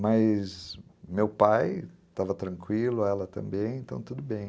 Mas meu pai estava tranquilo, ela também, então tudo bem.